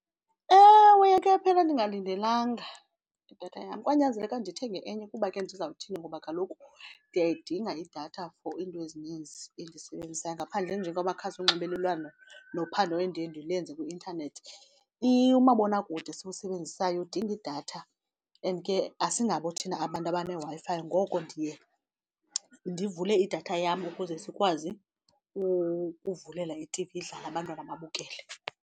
Ewe, yakhe yaphela ndingalindelanga idatha yam kwanyanzeleka ndithenge enye kuba ke ndizawuthini ngoba kaloku ndiyayidinga idatha for iinto ezininzi endizisebenzisayo. Ngaphandle nje kwamakhasi onxibelelwano nophando endiye ndilenze kwi-intanethi, umabonakude esiwusebenzisayo udinga idatha and ke asingabo thina abantu abaneWi-Fi ngoko ndiye ndivule idatha yam ukuze sikwazi ukuvulela i-T_V idlale abantwana babukele.